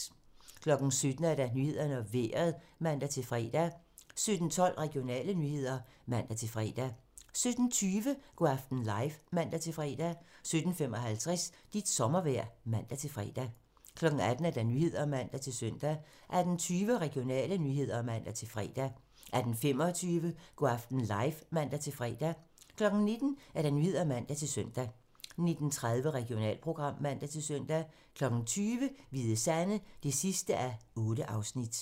17:00: Nyhederne og Vejret (man-fre) 17:12: Regionale nyheder (man-fre) 17:20: Go' aften live (man-fre) 17:55: Dit sommervejr (man-fre) 18:00: Nyhederne (man-søn) 18:20: Regionale nyheder (man-fre) 18:25: Go' aften live (man-fre) 19:00: Nyhederne (man-søn) 19:30: Regionalprogram (man-søn) 20:00: Hvide Sande (8:8)